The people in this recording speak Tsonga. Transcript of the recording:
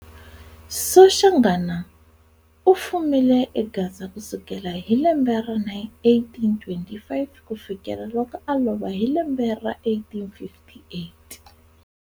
Soshanghana u fumile e Gaza kusukela hi lembe ra 1825 kufikela loko a lova hi lembe ra 1858.